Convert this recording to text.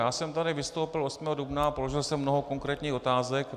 Já jsem tady vystoupil 8. dubna a položil jsem mnoho konkrétních otázek.